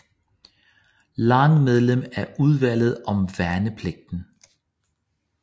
Lange medlem af Udvalget om værnepligten